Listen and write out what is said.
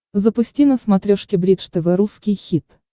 запусти на смотрешке бридж тв русский хит